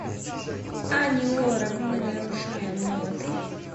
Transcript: ани лорак мы нарушаем ноты